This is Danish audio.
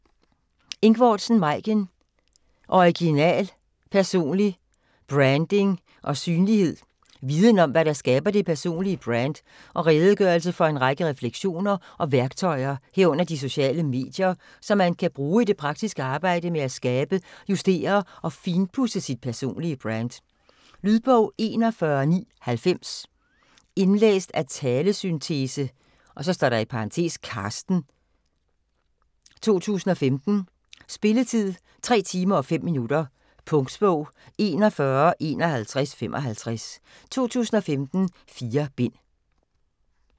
Ingvordsen, Maiken: Original: personlig branding & synlighed Viden om, hvad der skaber det personlige brand og redegørelse for en række refleksioner og værktøjer, herunder de sociale medier, som man kan bruge i det praktiske arbejde med at skabe, justere og finpudse sit personlige brand. Lydbog 41990 Indlæst af talesyntese (Carsten), 2015. Spilletid: 3 timer, 5 minutter. Punktbog 415155 2015. 4 bind.